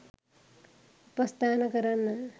උපස්ථාන කරන්න